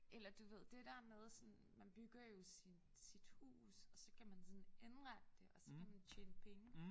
Eller du ved det der med sådan man bygger jo sin sit hus og så kan man sådan indrette det og så kan man tjene penge